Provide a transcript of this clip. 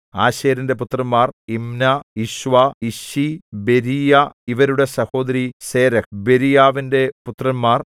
ആശേരിന്റെ പുത്രന്മാർ Imnah Ishvah Ishvi Beriah ഇവരുടെ സഹോദരി സേരഹ് ബെരീയാവിന്റെ പുത്രന്മാർ